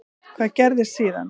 Hvað gerðist síðan?